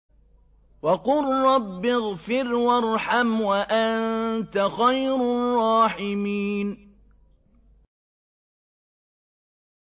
وَقُل رَّبِّ اغْفِرْ وَارْحَمْ وَأَنتَ خَيْرُ الرَّاحِمِينَ